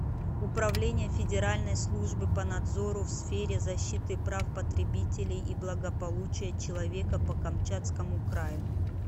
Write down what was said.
управление федеральной службы по надзору в сфере защиты прав потребителей и благополучия человека по камчатскому краю